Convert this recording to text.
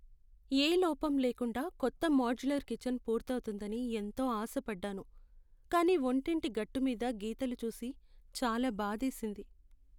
యే లోపంలేకుండా కొత్త మోడ్యులర్ కిచెన్ పూర్తవుతుందని ఎంతో ఆశపడ్డాను. కానీ వంటింటి గట్టు మీద గీతలు చూసి చాలా బాధేసింది.